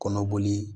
Kɔnɔboli